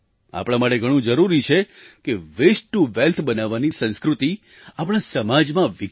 આપણા માટે ઘણું જરૂરી છે કે વેસ્ટ ટૂ વેલ્થ બનાવવાની સંસ્કૃતિ આપણા સમાજમાં વિકસે